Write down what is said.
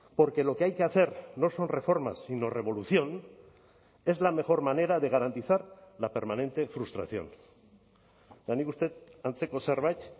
porque lo que hay que hacer no son reformas sino revolución es la mejor manera de garantizar la permanente frustración eta nik uste dut antzeko zerbait